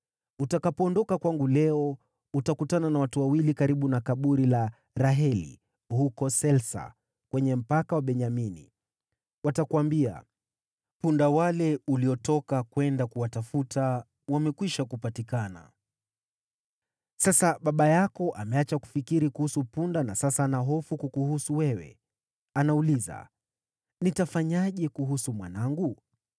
Utakapoondoka kwangu leo, utakutana na watu wawili karibu na kaburi la Raheli, huko Selsa kwenye mpaka wa Benyamini. Watakuambia, ‘Punda wale uliotoka kwenda kuwatafuta, wamekwisha kupatikana. Sasa baba yako ameacha kufikiri kuhusu punda na sasa ana hofu kukuhusu wewe. Anauliza, “Nitafanyaje kuhusu mwanangu?” ’